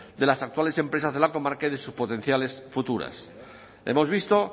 de las actuales empresas de la comarca y de sus potenciales futuras hemos visto